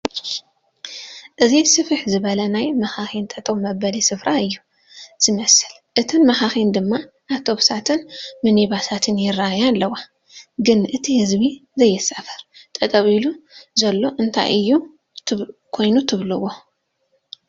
እዚ ስፍሕ ዝበለ ናይ መኻኺን ጠጠው መበሊ ስፍራ እዩ ዝመስል እተን መኸኺን ድማ ኣብቶብሳትን ምኒባሳት ይረኣያ ኣለዋ ፡ ግን እቲ ህዝቢ ዘይሳፈር ጠጠው ኢሉ ዘሎ እንታይ'ዩ ኮይኑ ትቭልዎ ?